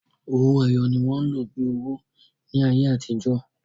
Owó èyọ̀ ní wọn lọ́ bí owó ní ayé atijọ.